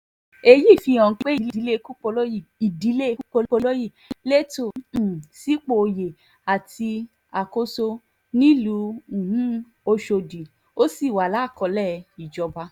èyí fihàn pé ìdílé kúpọlọyí ìdílé kúpọlọyí lẹ́tọ̀ọ́ um sípò oyè àti àkóso nílùú um ọ̀ṣọ́dì ó sì wà lákọọ́lẹ̀ ìjọba